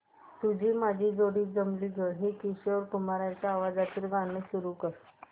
तुझी माझी जोडी जमली गं हे किशोर कुमारांच्या आवाजातील गाणं सुरू कर